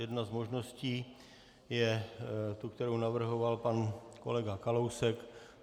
Jedna z možností je ta, kterou navrhoval pan kolega Kalousek.